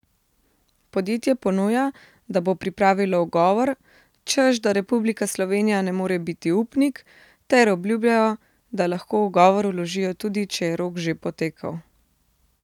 Podjetje ponuja, da bo pripravilo ugovor, češ da Republika Slovenija ne more biti upnik, ter obljubljajo, da lahko ugovor vložijo, tudi če je rok že potekel.